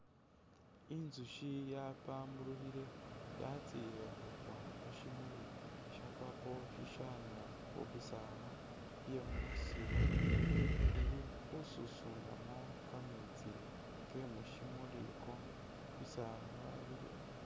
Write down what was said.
Inzushi yapamburukhile yatsile khukwa khu shimuli sha purple shishaana khubisaala bye musiru ,ili khususunamu kameetsi ke mushimuli ako ,bisaala biliwo